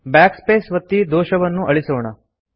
Backspace ಒತ್ತಿ ದೋಷವನ್ನು ಅಳಿಸೋಣ